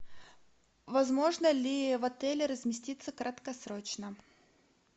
возможно ли в отеле разместиться краткосрочно